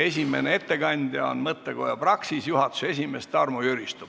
Esimene ettekandja on mõttekoja Praxis juhatuse esimees Tarmo Jüristo.